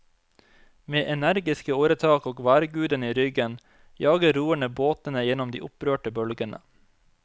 Med energiske åretak og værgudene i ryggen jager roerne båtene gjennom de opprørte bølgene.